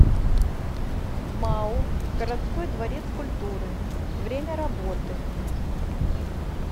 мау городской дворец культуры время работы